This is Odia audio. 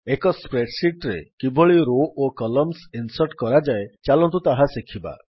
ଏକ ସ୍ପ୍ରେଡ୍ ଶୀଟ୍ ରେ କିଭଳି ରୋ ଓ କଲମ୍ସ ଇନ୍ସର୍ଟ୍ କରାଯାଏ ଚାଲନ୍ତୁ ତାହା ଶିଖିବା